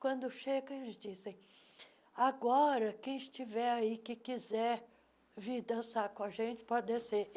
Quando chega, eles dizem... Agora, quem estiver aí e quiser vir dançar com a gente, pode descer.